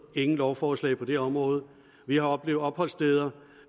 ingen lovforslag på det område vi har oplevet opholdssteder